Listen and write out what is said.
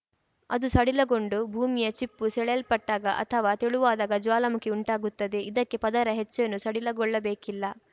ಅದು ಸಡಿಲಗೊಂಡು ಭೂಮಿಯ ಚಿಪ್ಪು ಸೆಳೆಯಲ್ಪಟ್ಟಾಗ ಅಥವಾ ತೆಳುವಾದಾಗ ಜ್ವಾಲಾಮುಖಿ ಉಂಟಾಗುತ್ತದೆ ಇದಕ್ಕೆ ಪದರ ಹೆಚ್ಚೇನೂ ಸಡಿಲಗೊಳ್ಳಬೇಕಿಲ್ಲ